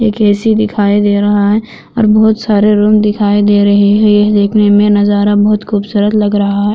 एक ए_सी दिखाई दे रहा है और बहुत सारे रूम दिखाई दे रहे है यह देखने में नजारा बहुत खूबसूरत लग रहा है|